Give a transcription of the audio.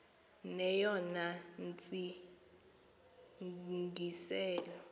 neyona ntsi ngiselo